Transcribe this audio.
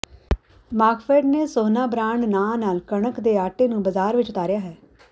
ਮਾਰਕਫੈੱਡ ਨੇ ਸੋਹਨਾ ਬਰਾਂਡ ਨਾਂ ਨਾਲ ਕਣਕ ਦੇ ਆਟੇ ਨੂੰ ਬਾਜ਼ਾਰ ਵਿੱਚ ਉਤਾਰਿਆ ਹੈ